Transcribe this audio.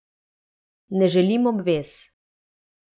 Ne želim obvez.